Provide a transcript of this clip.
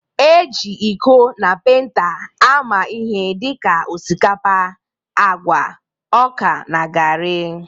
E ji iko na penta ama ihe dịka osikapa, agwa, ọka n'garri